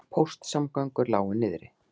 Póstsamgöngur lágu niðri